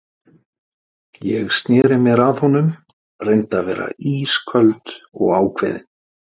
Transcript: Ég sneri mér að honum, reyndi að vera ísköld og ákveðin.